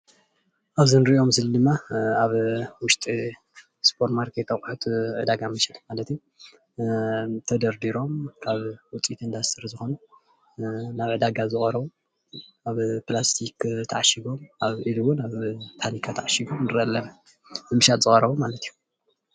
ኣብዚ እንሪኦ ምስሊ ድማ ኣብ ውሽጢ ስፖር ማርኬት ኣቁሑት ዕዳጋ መሸጢ ማለት እዩ፡፡ ተደርዲሮም ካብ ውፅኢት እንዳስትሪ ዝኮኑ ናብ ዕዳጋ ዝቀረቢ ኣብ ፕላስቲክ ተዓሺጎም ኢሉ እውን ኣብ ተኒካ ተዓሺጎም ንሪኢ ኣለና ንምሻጥ ዝቀረቡ ማለት እዩ፡፡